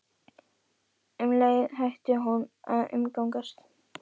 Og um leið hætti hún að umgangast